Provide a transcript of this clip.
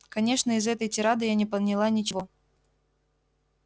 конечно из этой тирады я не поняла ничего